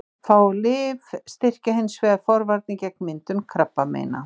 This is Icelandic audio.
Fá lyf styrkja hins vegar forvarnir gegn myndun krabbameina.